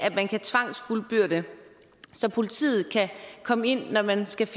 at man kan tvangsfuldbyrde så politiet kan komme ind når man skal